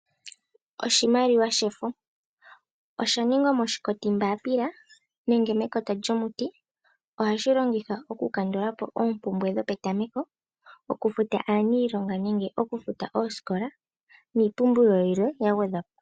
Oshimaliwa shefo osha ningwa moshikoti mbaapila nenge mekota lyomuti. Ohashi longithwa okukandula po oompumbwe dhopetameko, okufuta aanilonga nenge osikola, niipumbiwa yilwe ya gwedhwapo.